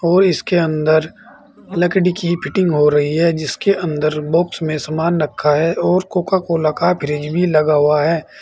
और इसके अंदर लकड़ी की फिटिंग हो रही है जिसके अंदर बॉक्स में समान रखा है और कोका कोला का फ्रिज भी लगा हुआ है।